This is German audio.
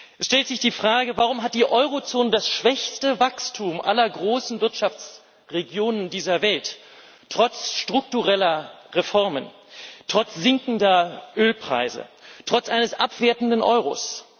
Es stellt sich die Frage Warum hat die Eurozone das schwächste Wachstum aller großen Wirtschaftsregionen dieser Welt trotz struktureller Reformen, trotz sinkender Ölpreise, trotz eines abwertenden Euros?